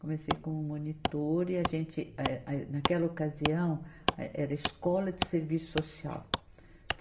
Comecei como monitora e a gente, eh, a, naquela ocasião, eh era escola de serviço social.